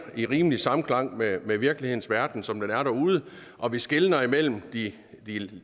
rimelig samklang med med virkelighedens verden som den er derude og vi skelner imellem de